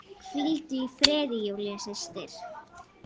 Hvíldu í friði, Júlía systir.